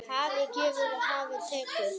Hafið gefur, hafið tekur.